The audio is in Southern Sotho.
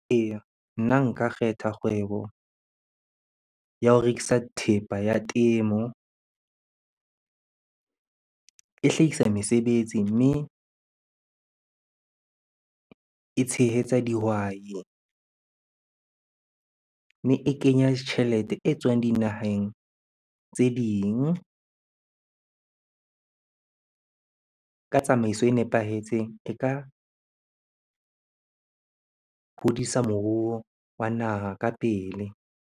Eya, nna nka kgetha kgwebo ya ho rekisa thepa ya temo. E hlahisa mesebetsi, mme e tshehetsa dihwai, mme e kenya tjhelete e tswang dinaheng tse ding. Ka tsamaiso e nepahetseng e ka hodisa moruo wa naha ka pele.